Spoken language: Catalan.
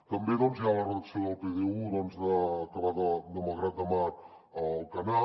també doncs hi ha la redacció del pdu que va de malgrat de mar a alcanar